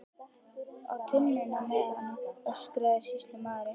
Á tunnuna með hann, öskraði sýslumaður.